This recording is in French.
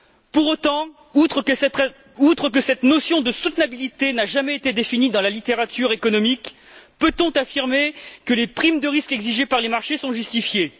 Pour autant, outre que cette notion de soutenabilité n'a jamais été définie dans la littérature économique, peut on affirmer que les primes de risque exigées par les marchés sont justifiées?